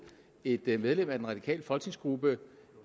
et et medlem af den radikale folketingsgruppe